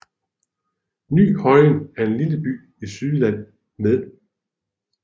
Ny Højen er en lille by i Sydjylland med